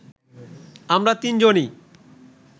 আমরা তিনজনই